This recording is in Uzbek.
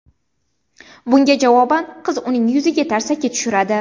Bunga javoban qiz uning yuziga tarsaki tushiradi.